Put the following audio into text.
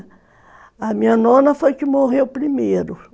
A minha nona foi que morreu primeiro.